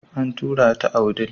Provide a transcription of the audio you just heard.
An tura ta a wudil.